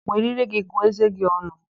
Were íré gị gụọ ézé gị ọnụ!